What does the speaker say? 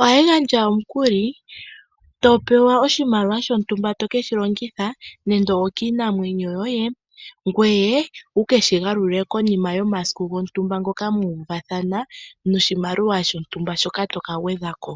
Ohayi gandja omukuli, to pewa oshimaliwa sho ntumba to keshi longitha, nando kiinamwenyo yoye , ngoye to keshi galula komasiku gontumba, ngoka muuvathana noshimaliwa shontumba shoka mwa uvathana taya ka gwedhako.